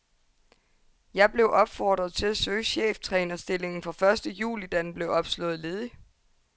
Jeg blev opfordret til at søge cheftrænerstillingen fra første juli, da den blev opslået ledig.